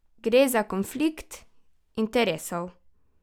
Gre za konflikt interesov?